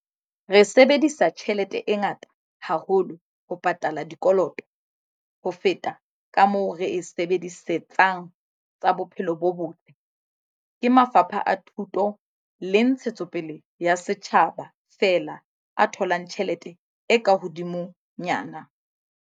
Re sebedisa tjhelete e ngata haholo ho pataleng dikoloto, ho feta kamoo re e sebedisetsang tsa bophelo bo botle, ke mafapha a thuto le ntshetsopele ya setjhaba fela a tholang tjhelete e ka hodimo nyana.